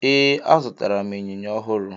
Ee, azụtara m ịnyịnya ọhụrụ.